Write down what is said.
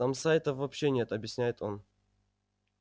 там сайтов вообще нет объясняет он